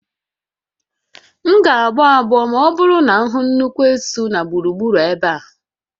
M ga-agbọ agbọ ma ọ bụrụ na m hụ nnukwu esu na gburugburu ebe a